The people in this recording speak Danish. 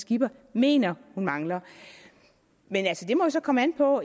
skipper mener hun mangler det må jo så komme an på